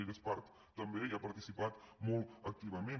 ella hi és part també i hi ha participat molt activament